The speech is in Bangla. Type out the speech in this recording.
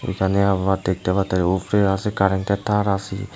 এখানে আমরা দেখতে পারতাছি ওফরে আসে কারেন্টের তার আসি ।